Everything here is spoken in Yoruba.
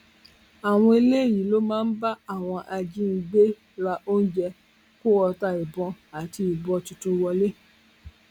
àwọn eléyìí ló máa ń bá àwọn ajínigbé ra oúnjẹ kó ọta ìbọn àti ìbọn tuntun wọlẹ